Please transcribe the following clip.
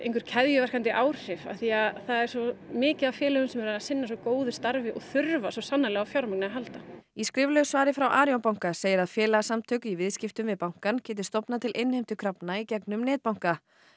keðjuverkandi áhrif af því það er svo mikið af félögum sem eru að sinna svo góðu starfi og þurfa svo sannarlega á fjármagni að halda í skriflegu svari frá Arion banka segir að félagasamtök í viðskiptum við bankann geti stofnað til innheimtukrafna í gegnum netbanka